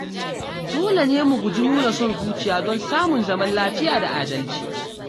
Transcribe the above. Dole ne mu guji nuna son zuciya don samun zaman lafiya da adalci.